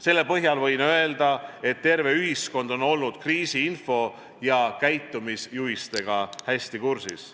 Selle põhjal võin öelda, et terve ühiskond on olnud kriisiinfo ja käitumisjuhistega hästi kursis.